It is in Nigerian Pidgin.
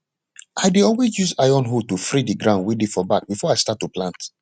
i dey always use iron hoe to free di ground wey dey for back before i start to plant